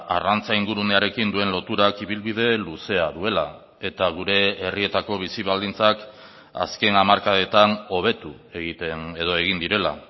arrantza ingurunearekin duen loturak ibilbide luzea duela eta gure herrietako bizi baldintzak azken hamarkadetan hobetu egiten edo egin direla